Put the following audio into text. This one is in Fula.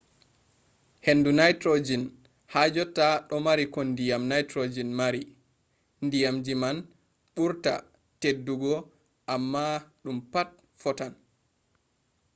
hendu nitrogen ha jotta do mari ko diyam nitrogen mari. diyamji man ɓurta teddudi amma ɗum pat fottan